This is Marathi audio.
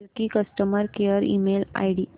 Suzuki customer care email ID